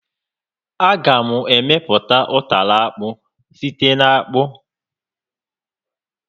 A ga m emepụta ụtara akpụ site n'akpụ